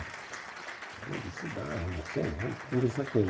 E eu disse, dá, eu não sei, vamos conversar com ele.